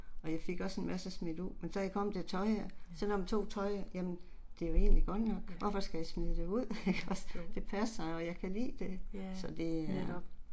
Og jeg fik også en masse smidt ud, men så jeg kommet til tøjet selvom jeg tog tøjet, jamen det er jo egentlig godt nok, hvorfor skal jeg smide det ud ikke også, det passer og jeg kan lide det så det